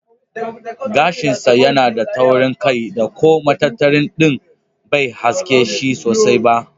Gashin sa yana da taurin kai da ko matattara din bai haske shi sosai ba.